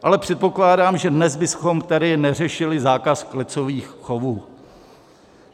Ale předpokládám, že dnes bychom tady neřešili zákaz klecových chovů.